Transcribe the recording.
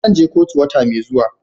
Zan je kotu wata mai zuwa.